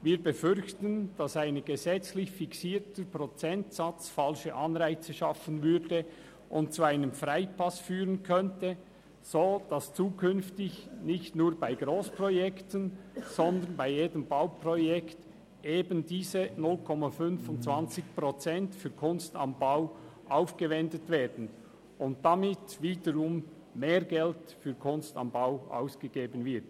Wir befürchten, dass ein gesetzlich fixierter Prozentsatz falsche Anreize schaffen und zu einem Freipass führen könnte, sodass nicht nur bei Grossprojekten, sondern bei jedem Bauprojekt eben diese 0,25 Prozent für «Kunst am Bau» aufgewendet würden und damit wieder mehr Geld für «Kunst am Bau» ausgegeben würde.